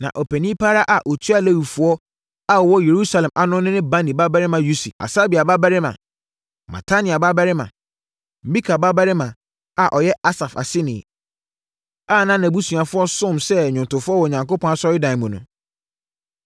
Na ɔpanin pa ara a ɔtua Lewifoɔ a wɔwɔ Yerusalem ano no ne Bani babarima Usi, Hasabia babarima, Matania babarima, Mika babarima a ɔyɛ Asaf aseni, a na nʼabusuafoɔ somm sɛ nnwomtofoɔ wɔ Onyankopɔn asɔredan mu no.